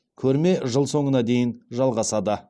көрме жыл соңына дейін жалғасады